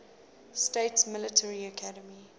states military academy